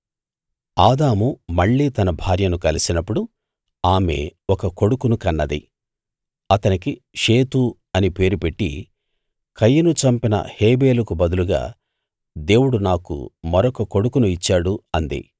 ఆదాము మళ్ళీ తన భార్యను కలిసినప్పుడు ఆమె ఒక కొడుకును కన్నది అతనికి షేతు అని పేరు పెట్టి కయీను చంపిన హేబెలుకు బదులుగా దేవుడు నాకు మరొక కొడుకును ఇచ్చాడు అంది